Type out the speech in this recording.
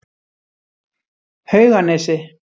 Hauganesi